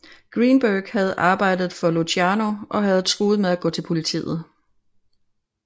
Greenberg havde arbejdet for Luciano og havde truet med at gå til politiet